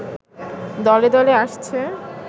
দলে দলে আসছে